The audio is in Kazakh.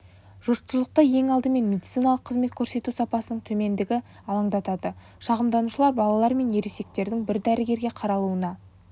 жұртшылықты ең алдымен медициналық қызмет көрсету сапасының төмендігі алаңдатады шағымданушылар балалар мен ересектердің бір дәрігерге қаралуына